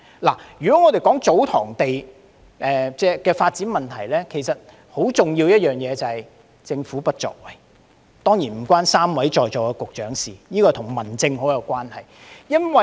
關於祖堂地的發展，有一個很重要的問題，就是政府的不作為，這方面當然與3位在席局長無關，而是與民政方面有很大關係。